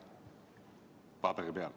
Paberi peal.